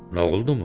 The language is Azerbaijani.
Noğuldumu?